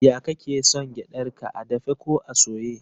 Ya kake son gyadar ka, a dafe ko a soye?